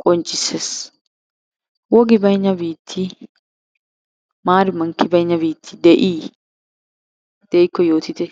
qonccissees. Wogi baynna biitti maari mankki baynna biitti de'i? De'ikko yootite.